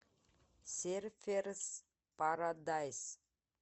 серферс парадайс